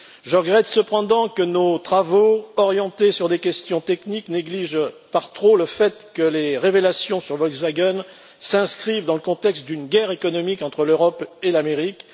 Je regrette cependant que nos travaux orientés sur des questions techniques négligent par trop le fait que les révélations sur Volkswagen s'inscrivent dans le contexte d'une guerre économique entre l'Europe et l'Amérique.